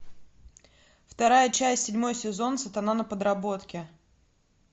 вторая часть седьмой сезон сатана на подработке